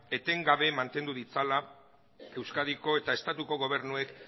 etengabe mantendu ditzala euskadiko eta estatuko gobernuek